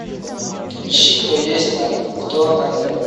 ищи кто есть на кто на тв